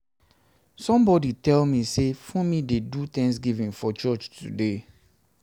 somebody tell me say funmi dey do thanksgiving for church today